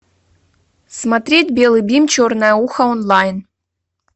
смотреть белый бим черное ухо онлайн